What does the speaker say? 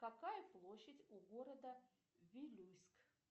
какая площадь у города вилюйск